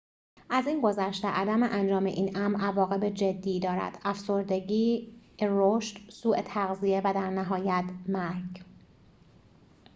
از این گذشته عدم انجام این امر عواقب جدی دارد افسردگی رشد سوء تغذیه و در نهایت مرگ